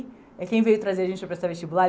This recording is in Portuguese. E quem veio trazer a gente para prestar vestibular?